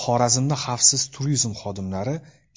Xorazmda xavfsiz turizm xodimlari